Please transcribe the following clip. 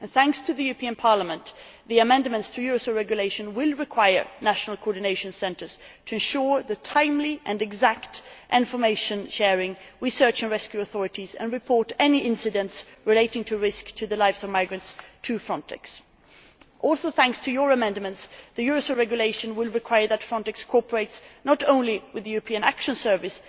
Thanks to the European Parliament, the amendments to the Eurosur Regulation will require national coordination centres to ensure timely and exact information sharing with search and rescue authorities and to report to Frontex any incidents relating to a risk to the lives of migrants. Also thanks to your amendments, the Eurosur Regulation will require that Frontex cooperates not only with the European External Action Service